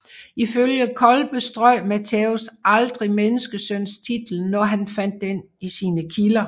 Ifølge Colpe strøg Mattæus aldrig menneskesøntitlen når han fandt den i sine kilder